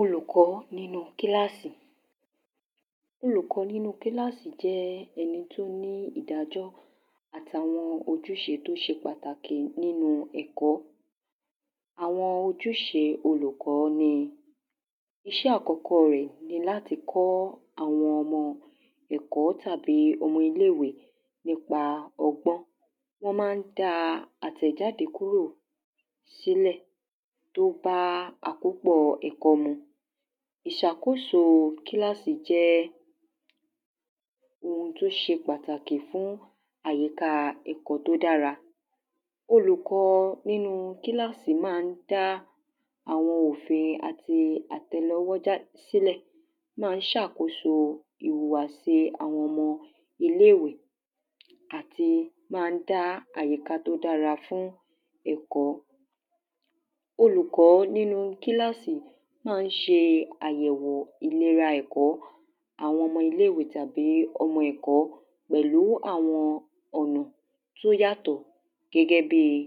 olùkọ́ nínu kílásì. olùkọ́ nínu kílásì jẹ́ ẹni tó ní ìdájọ́ àtàwọn ojúṣe tó ṣe pàtàkì nínu ẹ̀kọ́. àwọn ojúṣe olùkọ́ ni; iṣẹ́ àkọ́kọ́ọ rẹ̀ ni láti kọ́ àwọn ọmọ ẹ̀kọ́ tàbí ọmọ iléèwé nípa ọgbọ́n. wọ́n mán daa àtẹ̀jáde kùró sílẹ̀ tó bá àkópọ̀ọ ẹ̀kọ́ mu. ìṣàkóso kílásì jẹ́ ohun tó ṣe pàtàkì fún àyíkáa ẹ̀kọ́ tó dára. olùkọ nínu kílásì maá dá àwọn òfin àti àtẹlẹwọ́ já sílẹ̀, maá ṣàkóso ìwùwà síi àwọn ọmọ ìléèwé àti maá dá àyíká tó dára fún ẹ̀kọ́. olùkọ́ nínu kílásì máa ṣe àyẹ̀wò ìlera ẹ̀kọ́ fún àwọn ọmọ iléèwé, tàbí àwọn ọmọ ẹ̀kọ́, pẹ̀lú àwọn ọ̀nà tó yàtọ̀ gẹ́gẹ́ bíi;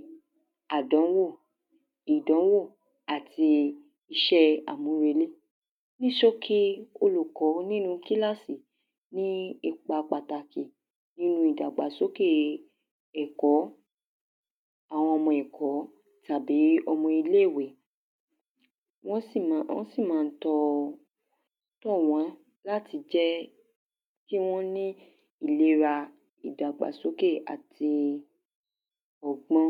àdúnwò, ìdánwò, àti iṣẹ́ẹ àmúrelé. ní ṣókí, olùkọ́ nínu kílásì ní ipa pàtàkì nínu ìdàgbàsókèe ẹ̀kọ́ àwọn ọmọ ẹ̀kọ́, tàbí ọmọ iléèwé. wọ́n sì mọ, wọ́n sì man tọ, tọ̀ wán láti jẹ́ kí wọ́n ní, ìlera, ìdàgbàsókè àti ọgbọ́n.